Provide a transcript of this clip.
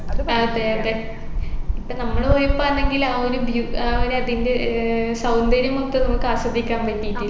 അതെ അതെ ഇപ്പോ നമ്മള് പോയപ്പാന്നെങ്കിൽ ആ ഒരു ബ്യു ആഹ് ഒരു അതിൻെറ ഏർ സൗന്ദര്യം മൊത്തം നമ്മുക്ക് ആസ്വദിക്കാൻ പറ്റിയിട്ടില്ലേ